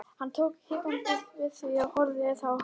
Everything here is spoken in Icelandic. Hann tók hikandi við því og horfði á það hugsi.